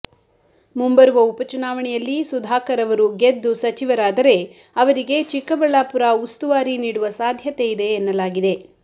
ಮುಂಬರುವ ಉಪಚುನಾವಣೆಯಲ್ಲಿ ಸುಧಾಕರ್ ಅವರು ಗೆದ್ದು ಸಚಿವರಾದರೆ ಅವರಿಗೆ ಚಿಕ್ಕಬಳ್ಳಾಪುರ ಉಸ್ತುವಾರಿ ನೀಡುವ ಸಾಧ್ಯತೆ ಇದೆ ಎನ್ನಲಾಗಿದೆ